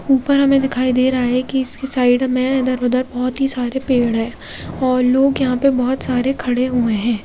ऊपर हमें दिखाई दे रहा है कि इसकी साइड में इधर उधर बहुत ही सारे पेड़ है और लोग यहां पर बहुत सारे खड़े हुए हैं।